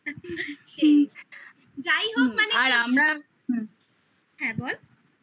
যাই হোক মানে হুম হ্যাঁ বল